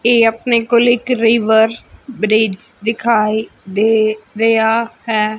ਇਹ ਆਪਣੇ ਕੋਲ ਇੱਕ ਰਿਵਰ ਬ੍ਰਿਜ ਦਿਖਾਈ ਦੇ ਰਿਹਾ ਹੈ।